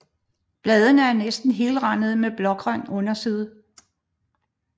Bladene er næsten helrandede med blågrøn underside